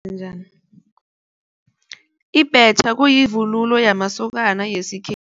Njani, Ibhetjha kuyivunulo yamasokana